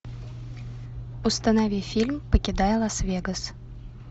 установи фильм покидая лас вегас